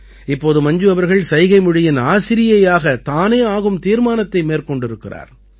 இப்போது மஞ்சு அவர்கள் சைகைமொழியின் ஆசிரியையாக தானே ஆகும் தீர்மானத்தை மேற்கொண்டிருக்கிறார்